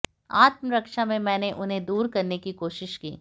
आत्मरक्षा में मैंने उन्हें दूर करने की कोशिश की